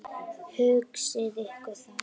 Hugsið ykkur það.